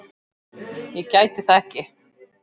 Ég gæti það ekki.